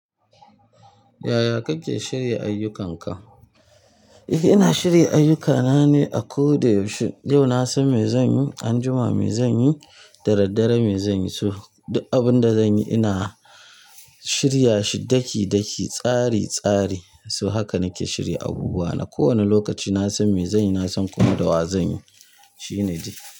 Yaya kake shirya ayyukanka? Ina shirya ayyukana ne a ko da yaushe. Yau na san me zanyi, anjima me zanyi, daddare me zanyi. So duk abun da zanyi ina shirya shi daki-daki, tsari-tsari. So haka nake shirya abubuwa na. Ko wani lokaci na san me zanyi, na san kuma da wa zanyi. Shi ne dai.